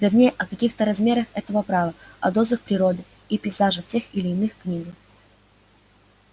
вернее о каких-то размерах этого права о дозах природы и пейзажа в тех или иных книгах